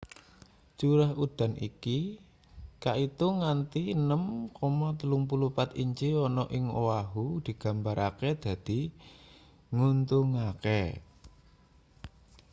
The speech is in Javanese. curah udan iki kaitung nganti 6,34 inci ana ing oahu digambarake dadi nguntungake